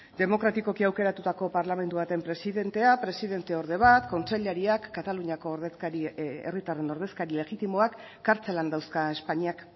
demokratikoki aukeratutako parlamentu baten presidentea presidenteorde bat kontseilariak kataluniako herritarren ordezkari legitimoak kartzelan dauzka espainiak